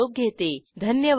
सहभागासाठी धन्यवाद